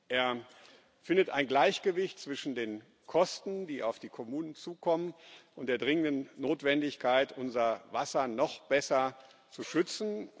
Er findet ein Gleichgewicht zwischen den Kosten, die auf die Kommunen zukommen, und der dringenden Notwendigkeit, unser Wasser noch besser zu schützen.